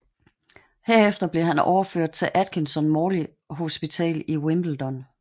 Herefter blev han overført til Atkinson Morley Hospital i Wimbledon